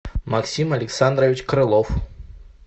максим александрович крылов